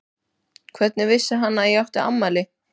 Hvernig vissi hann að ég átti afmæli?